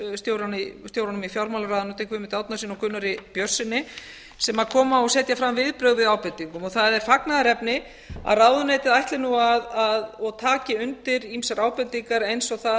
ráðuneytisstjórunum í fjármálaráðuneytinu guðmundi árnasyni og gunnari björnssyni sem koma og setja fram viðbrögð við ábendingum og það er fagnaðarefni að ráðuneytið ætli nú og taki undir ýmsar ábendingar eins og það